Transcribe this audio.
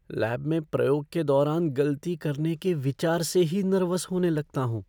Lab में प्रयोग के दौरान गलती करने के विचार से ही नर्वस होने लगता हूँ।